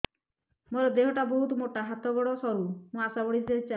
ମୋର ଦେହ ଟା ବହୁତ ମୋଟା ହାତ ଗୋଡ଼ ସରୁ ମୁ ଆଶା ବାଡ଼ି ଧରି ଚାଲେ